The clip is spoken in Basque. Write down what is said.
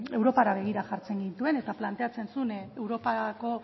europara begira jartzen gintuen eta planteatzen zuen europako